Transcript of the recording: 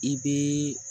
I bɛ